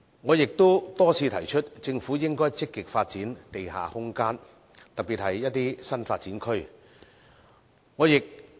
我也多次提出，政府應該積極發展地下空間，特別是一些新發展區。